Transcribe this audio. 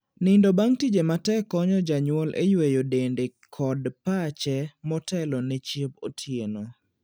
Nindo bang' tije matek konyo janyuol e yueyo dende kod pache motelone chiemb otieno.